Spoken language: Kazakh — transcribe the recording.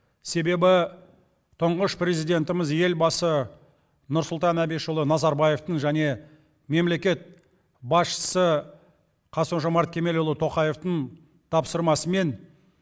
себебі тұңғыш президенті елбасы нұрсұлтан әбішұлы назарбаевтың және мемлекет басшысы қасым жомарт кемелұлы тоқаевтың тапсырмасымен